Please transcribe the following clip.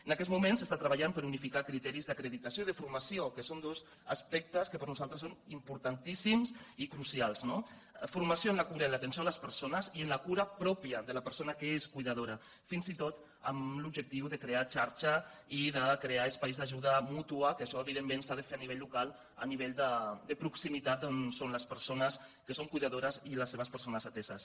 en aquests moments s’està treballant per unificar criteris d’acreditació i de formació que són dos aspectes que per nosaltres són importantíssims i crucials no formació en la cura i en l’atenció a les persones i en la cura pròpia de la persona que és cuidadora fins i tot amb l’objectiu de crear xarxa i de crear espais d’ajuda mútua que això evidentment s’ha de fer a nivell local a nivell de proximitat on són les persones que són cuidadores i les seves persones ateses